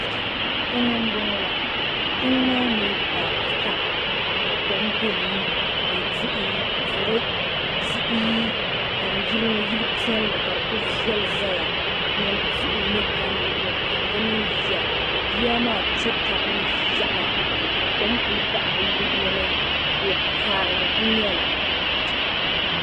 Tiŋ n bɔŋɔ la tiŋ maa mi bari pam ka kom be ni. n nyɛ duri tihi nyɛm yiliŋɔ yili piɛli ka di ku veli zaya nyam tihi ni gam luɣili kam dimini yiya. yiya maa kpe tabi ni yaɣi, ka kom kul' naɣi bi luɣili ni. ko karili nkul nyɛli .